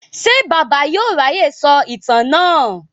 Ṣé Bàbá yóò ráyè sọ ìtàn náà?